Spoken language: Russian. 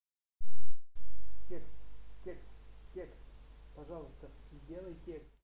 текст текст текст пожалуйста сделайте